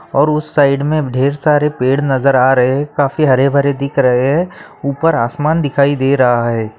और उस साइड में ढ़ेर सारे पेड़ नजर आ रहे हैं काफी हरे-भरे दिख रहे हैं ऊपर आसमान दिखाई दे रहा है।